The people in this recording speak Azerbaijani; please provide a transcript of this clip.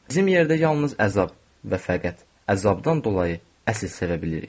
Bizim yerdə yalnız əzab və fəqət əzabdan dolayı əsl sevə bilirik.